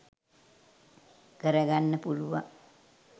කරගන්න පුළුවන්.